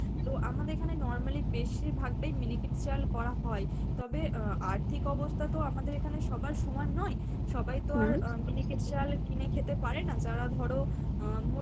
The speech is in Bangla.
তো আমাদের এখানে normally বেশিরভাগ টাই miniket চাল করা হয় তবে আহ আর্থিক অবস্থা তো আমাদের এখানে সবার সমান নয়, সবাই তো আর miniket চাল কিনে খেতে পারেনা যারা ধরো আহ